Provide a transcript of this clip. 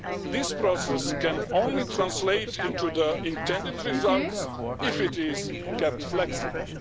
This process can only translate into the intended results if it is kept flexible.